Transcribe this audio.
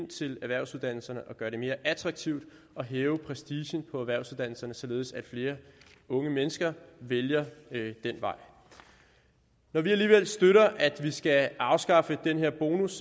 til erhvervsuddannelserne og gøre det mere attraktivt at hæve prestigen på erhvervsuddannelserne således at flere unge mennesker vælger den vej når vi alligevel støtter at man skal afskaffe den her bonus